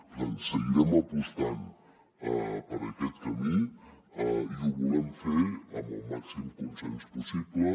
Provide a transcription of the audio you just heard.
per tant seguirem apostant per aquest camí i ho volem fer amb el màxim consens possible